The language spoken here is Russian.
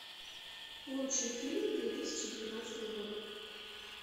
лучший фильм две тысячи девятнадцатого года